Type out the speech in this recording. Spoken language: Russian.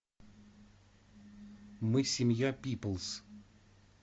мы семья пиплз